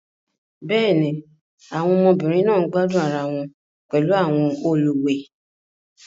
Bẹ́ẹ̀ ni, àwọn ọmọbìnrin náà ń gbádùn ara wọn pẹ̀lú àwọn olùwẹ̀.